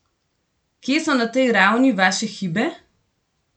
Kje so na tej ravni vaše hibe?